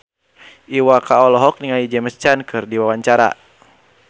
Iwa K olohok ningali James Caan keur diwawancara